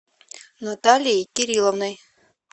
наталией кирилловной